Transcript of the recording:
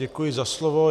Děkuji za slovo.